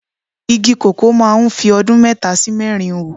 Igi koko máa ń fi ọdún mẹ́ta sí mẹ́rin hù.